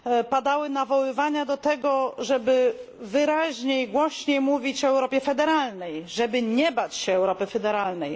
Padały nawoływania do tego, żeby wyraźniej, głośniej mówić o Europie federalnej, żeby nie bać się Europy federalnej.